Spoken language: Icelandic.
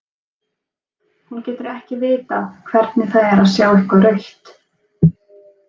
Hún getur ekki vitað hvernig það er að sjá eitthvað rautt.